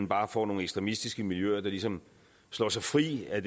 bare får nogle ekstremistiske miljøer der ligesom slår sig fri af